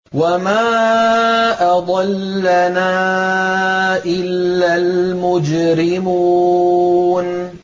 وَمَا أَضَلَّنَا إِلَّا الْمُجْرِمُونَ